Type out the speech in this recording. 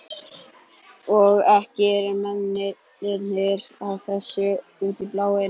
Og ekki eru mennirnir að þessu út í bláinn.